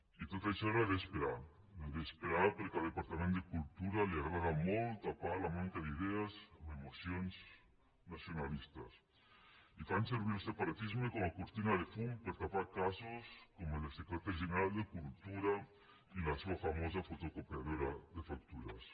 i tot això era d’esperar era d’esperar perquè al departament de cultura li agrada molt tapar la manca d’idees amb emocions nacionalistes i fan servir el separatisme com a cortina de fum per tapar casos com el del secretari general de cultura i la seva famosa fotocopia dora de factures